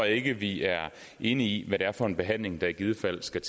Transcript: ikke vi er enige om hvad det er for en behandling der i givet fald skal